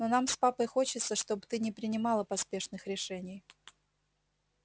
но нам с папой хочется чтобы ты не принимала поспешных решений